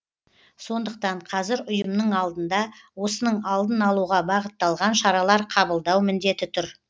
сондықтан қазір ұйымның алдында осының алдын алуға бағытталған шаралар қабылдау міндеті тұр